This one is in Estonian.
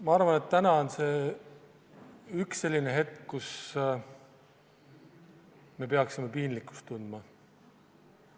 Ma arvan, et täna on üks selliseid hetki, kui me peaksime piinlikkust tundma.